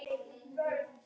Sonur hennar? spyrja þeir.